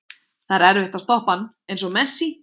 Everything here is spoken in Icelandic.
Það er erfitt að stoppa hann, eins og Messi.